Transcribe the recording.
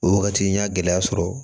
O wagati n y'a gɛlɛya sɔrɔ